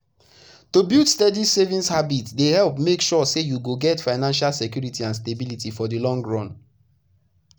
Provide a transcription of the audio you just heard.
to build steady savings habit dey help make sure say you go get financial security and stability for the long run.